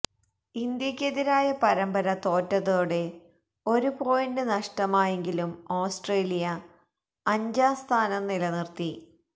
ഇന്ത്യക്കെതിരായ പരന്പര തോറ്റതോടെ ഒരു പോയിന്റ് നഷ്ടമായെങ്കിലും ഓസ്ട്രേലിയ അഞ്ചാം സ്ഥാനം നിലനിര്ത്തി